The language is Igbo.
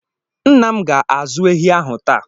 Nna m ga-azụ ehi ahụ taa.